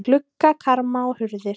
Gluggakarma og hurðir.